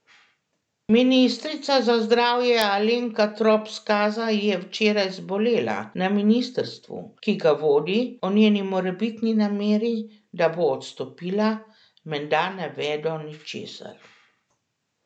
Ministrica za zdravje Alenka Trop Skaza je včeraj zbolela, na ministrstvu, ki ga vodi, o njeni morebitni nameri, da bo odstopila, menda ne vedo ničesar.